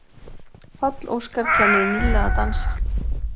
Páll Óskar kennir Nilla að dansa